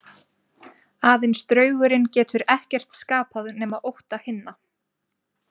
Aðeins draugurinn getur ekkert skapað nema ótta hinna.